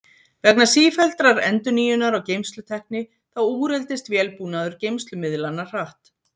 Vegna sífelldrar endurnýjunar á geymslutækni þá úreldist vélbúnaður geymslumiðlanna hratt.